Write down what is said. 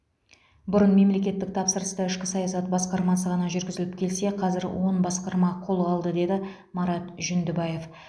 бұрын мемлекеттік тапсырысты ішкі саясат басқармасы ғана жүргізіліп келсе қазір он басқарма қолға алды деді марат жүндібаев